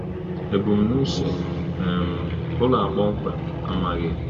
Ebumnuche um ụlọ a kpọmkwem amaghi.